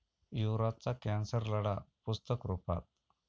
युवराजचा cancer लढा पुस्तकरुपात